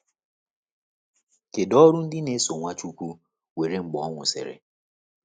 Kedu ọrụ ndị na-eso Nwachukwu nwere mgbe ọ nwụsịrị?